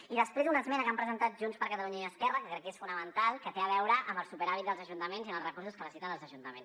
i després una esmena que han presentat junts per catalunya i esquerra que crec que és fonamental que té a veure amb el superàvit dels ajuntaments i amb els recursos que necessiten els ajuntaments